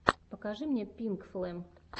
покажи мне пинкфлэм